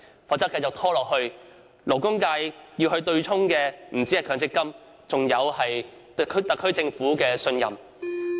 否則，如問題一拖再拖，被對沖的不單是強積金，還有對特區政府的信任。